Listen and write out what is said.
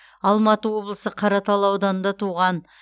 алматы облысы қаратал ауданында туған